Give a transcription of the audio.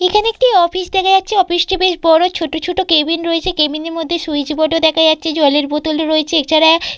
এখানে একটি অফিস দেখা যাচ্ছেঅফিস টি বেশ বড় ছোট ছোট কেবিন রয়েছে কেবিন এর মধ্যে সুইচবোর্ড ও দেখা যাচ্ছে জলের বোতল ও রয়েছে এছাড়া --